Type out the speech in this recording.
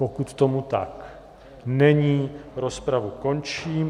Pokud tomu tak není, rozpravu končím.